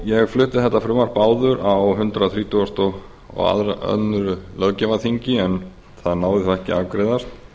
ég flutti þetta frumvarp áður á hundrað þrítugasta og öðrum löggjafarþingi en það náði þá ekki að